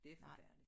Det forfærdeligt